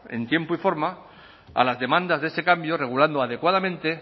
en tiempo y forma a las demandas de ese cambio regulando adecuadamente